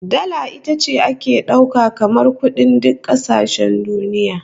Dala ita ce ake dauka kamar kudin duk kasashen duniya